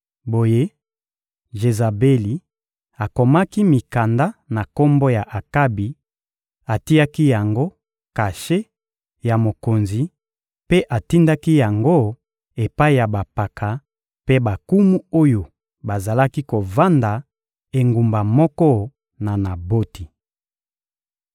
Boye, Jezabeli akomaki mikanda na kombo ya Akabi, atiaki yango kashe ya mokonzi mpe atindaki yango epai ya bampaka mpe bankumu oyo bazalaki kovanda engumba moko na Naboti.